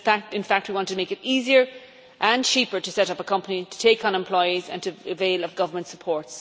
In fact, we want to make it easier and cheaper to set up a company to take on employees and to avail of government support.